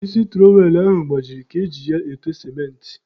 Isi tụrọwel ahụ gbajiri ka e ji ya ete sementị.